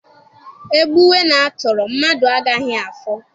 E gbuwe na a tọrọ, mmadụ agaghị afọ